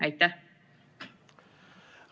Aitäh!